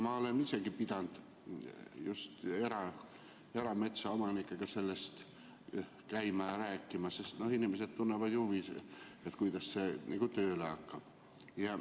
Ma olen isegi pidanud käima ja just erametsaomanikega sellest rääkima, sest inimesed tunnevad huvi, kuidas see tööle hakkab.